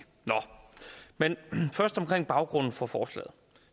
nå men først om baggrunden for forslaget